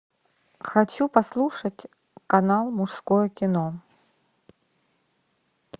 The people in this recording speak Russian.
хочу послушать канал мужское кино